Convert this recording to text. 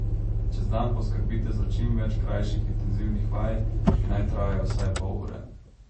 Čez dan poskrbite za čim več krajših intenzivnih vaj, ki naj trajajo vsaj pol ure.